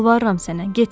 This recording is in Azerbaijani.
Yalvarıram sənə, getmə.